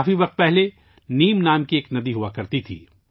بہت پہلے یہاں نیم نام کی ایک ندی ہوا کرتی تھی